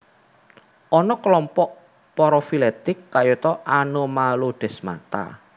Ana kelompok parafiletik kayata Anomalodesmata